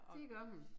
Det gør hun